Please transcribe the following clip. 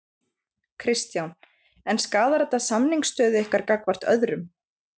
Kristján: En skaðar þetta samningsstöðu ykkar gagnvart öðrum?